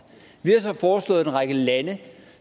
vi har så foreslået at fra en række lande